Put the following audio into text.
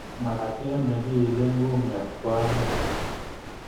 Makatiat ne kikiile kumnyat ko anyiny